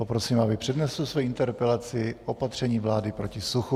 Poprosím, aby přednesl svoji interpelaci opatření vlády proti suchu.